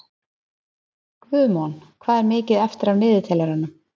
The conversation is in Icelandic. Guðmon, hvað er mikið eftir af niðurteljaranum?